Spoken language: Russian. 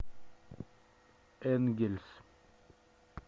энгельс